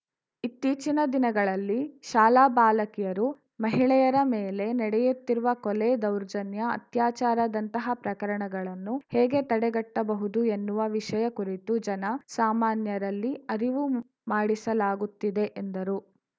ಇತ್ತೀಚಿನ ದಿನಗಳಲ್ಲಿ ಶಾಲಾ ಬಾಲಕಿಯರು ಮಹಿಳೆಯರ ಮೇಲೆ ನಡೆಯುತ್ತಿರುವ ಕೊಲೆ ದೌರ್ಜನ್ಯ ಅತ್ಯಾಚಾರದಂತ ಪ್ರಕರಣಗಳನ್ನು ಹೇಗೆ ತಡೆಗಟ್ಟಬಹುದು ಎನ್ನುವ ವಿಷಯ ಕುರಿತು ಜನ ಸಾಮಾನ್ಯರಲ್ಲಿ ಅರಿವು ಮೂಡಿಸಲಾಗುತ್ತಿದೆ ಎಂದರು